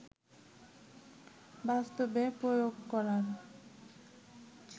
বাস্তবে প্রয়োগ করার